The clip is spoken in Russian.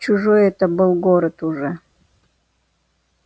чужой это был город уже